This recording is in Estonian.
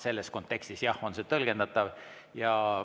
Selles kontekstis, jah, on see tõlgendatav.